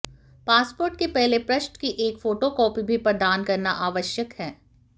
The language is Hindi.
पासपोर्ट के पहले पृष्ठ की एक फोटोकॉपी भी प्रदान करना आवश्यक है